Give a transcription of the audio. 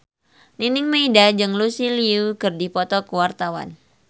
Nining Meida jeung Lucy Liu keur dipoto ku wartawan